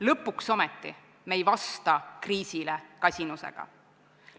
Lõpuks ometi me ei vasta kriisile kasinusega.